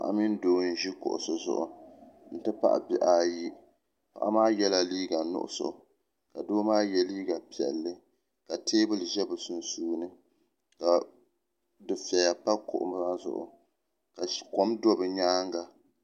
Paɣa mini doo n ʒi kuɣusi zuɣu n ti pahi bihi ayi paɣa maa yela liiga nuɣuso ka doo maa ye liiga piɛlli ka teebuli ʒɛ bɛ sunsuuni ka dufeya pa kuɣu maa zuɣu ka kom do bɛ nyaanga